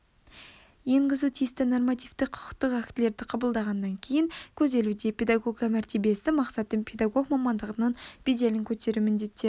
енгізу тиісті нормативтік құқықтық актілерді қабылдағаннан кейін көзделуде педагог мәртебесі мақсаты педагог мамандығының беделін көтеру міндеттері